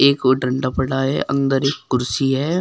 एक ओर डंडा पड़ा है अंदर एक कुर्सी है।